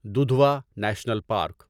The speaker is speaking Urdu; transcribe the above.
Dudhwa National park